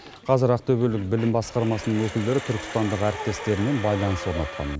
қазір ақтөбелік білім басқармасының өкілдері түркістандық әріптестерімен байланыс орнатқан